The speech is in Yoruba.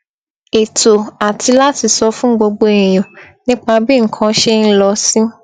ètò àti láti sọ fún gbogbo èèyàn nípa bí nǹkan ṣe ń lọ sí